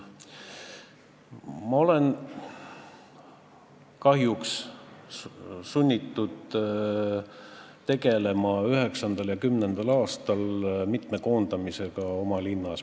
Ma olen kahjuks olnud sunnitud tegelema 2009. ja 2010. aastal mitme koondamisega oma linnas.